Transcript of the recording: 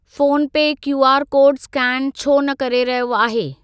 Phone पे QR code scan छो न करे रहियो आहे?